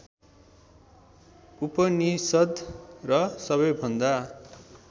उपनिषद् र सबैभन्दा